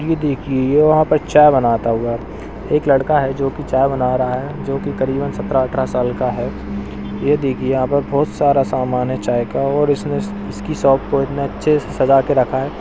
ये देखिए ये यहाँ पर चाय बनाता हूआ एक लड़का है जोकि चाय बना रहा है जोकि करीबन सत्रह अठरह साल का है। ये देखिए यहाँ पर बहोत सारा समान है चाय का और इसने इसकी शॉप को इतने अच्छे से सजा के रखा है।